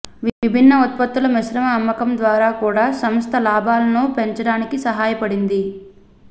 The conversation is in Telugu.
విభిన్న ఉత్పత్తుల మిశ్రమ అమ్మకం ద్వారా కూడా సంస్థ లాభాలను పెంచడానికి సహాయపడింది